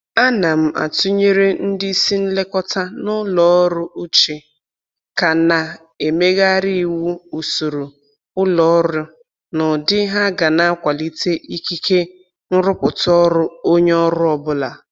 Ana m atụnyere ndị isi nlekọta n'ụlọ ọrụ uche ka na-emegharị iwu usoro ụlọ ọrụ n'ụdị ha ga na-akwalite ikike nrụpụta ọrụ onye ọrụ ọbụla